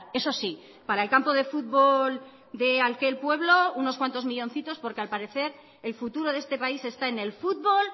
eso sí para el campo de fútbol de aquel pueblo unos cuantos millóncitos porque al parecer el futuro de este país está en el fútbol